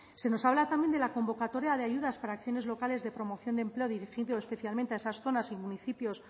se nos habla también de la convocatoria de ayudas para acciones locales de promoción de empleo dirigido especialmente a esas zonas y municipios